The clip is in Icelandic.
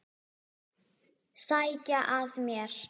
Sækja að mér.